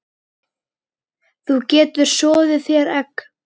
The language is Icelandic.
Þú getur soðið þér egg